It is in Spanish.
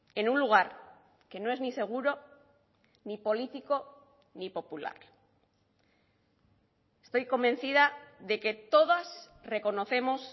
en un lugar que no es ni seguro ni político ni popular estoy convencida de que todas reconocemos